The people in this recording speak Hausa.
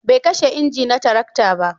bai kashe inji na tarakta ba